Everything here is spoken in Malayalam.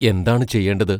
എന്താണു ചെയ്യേണ്ടത്?